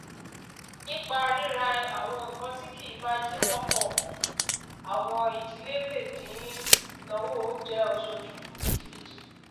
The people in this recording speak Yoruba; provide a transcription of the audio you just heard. absa jẹ ọkan ninu awọn ẹgbẹ awọn iṣẹ iṣuna owo ti o tobi julo ni afirika